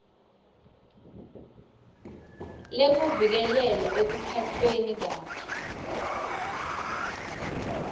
lekuvikeleka ekuphatfweni kabi